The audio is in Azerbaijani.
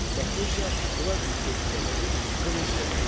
Latınca Qladius sözündən olub qılınc deməkdir.